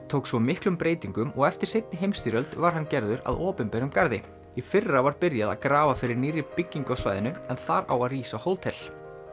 tók svo miklum breytingum og eftir seinni heimsstyrjöld var að hann gerður að opinberum garði í fyrra var byrjað að grafa fyrir nýrri byggingu á svæðinu en þar á að rísa hótel